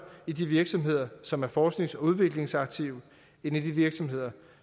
i de virksomheder som er forsknings og udviklingsaktive end i de virksomheder